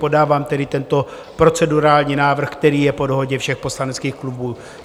Podávám tedy tento procedurální návrh, který je po dohodě všech poslaneckých klubů.